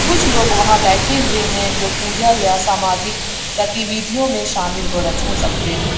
कुछ लोग वहां बैठे हुए हैं जो पूजा या सामाजिक गतिविधियों में शामिल हो रस हो सकते हैं।